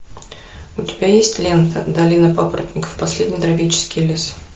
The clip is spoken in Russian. у тебя есть лента долина папоротников последний тропический лес